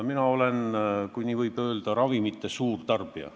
Mina olen, kui nii võib öelda, ravimite suurtarbija.